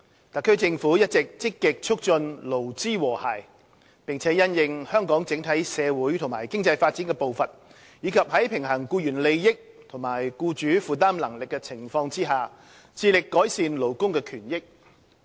特區政府一直積極促進勞資和諧，並因應香港的整體社會及經濟發展的步伐，以及在平衡僱員利益與僱主負擔能力的情況下，致力改善勞工權益。